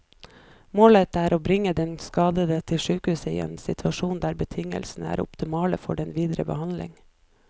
Målet er å bringe den skadede til sykehus i en situasjon der betingelsene er optimale for den videre behandling.